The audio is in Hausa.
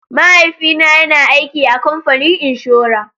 Mahaifina yana aiki a kamfanin inshora.